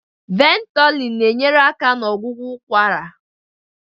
Ventolin na-enyere aka na ọgwụgwọ ụkwara.